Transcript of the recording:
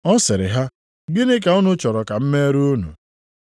Ọ sịrị ha, “Gịnị ka unu chọrọ ka m meere unu?”